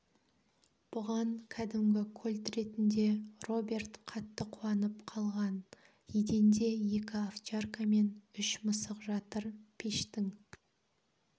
бұған кәдімгі кольт ретінде роберт қатты қуанып қалған еденде екі овчарка мен үш мысық жатыр пештің